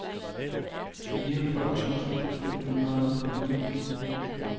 fireogfyrre tusind fem hundrede og ni